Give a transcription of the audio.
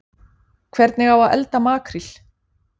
Hvernig á að elda makríl